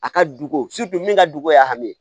A ka duko min ka dogo y'a min